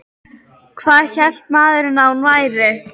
Hvað hélt maðurinn að hún væri?